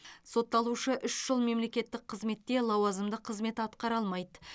сотталушы үш жыл мемлекеттік қызметте лауазымды қызмет атқара алмайды